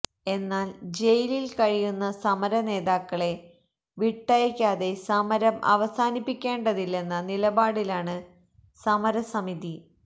എന്നാല് ജയിലില് കഴിയുന്ന സമരനേതാക്കളെ വിട്ടയക്കാതെ സമരം അവസാനിപ്പിക്കേണ്ടതില്ലെന്ന നിലപാടിലാണ് സമരസമിതി